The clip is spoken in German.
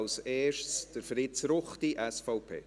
zuerst Fritz Ruchti, SVP.